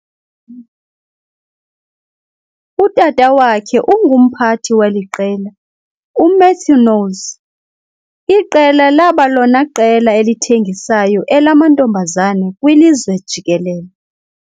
Utata wakhe ungumphati weliqela uMatthew Knowles, iqela laba lona qela elithengisayo elamantombazane kwilizwe jikelele.